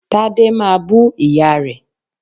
Tade máa bú ìyá rẹ̀